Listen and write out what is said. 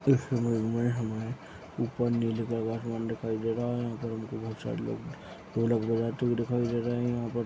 इस इमेज में हमें ऊपर नीले कलर का आसमान दिखाई दे रहा है यहाँ पर हमको बहुत सारे लोग ढोलक बजाते हुए दिखाई दे रहा है। यहाँ पर --